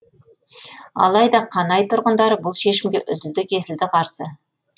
алайда қанай тұрғындары бұл шешімге үзілді кесілді қарсы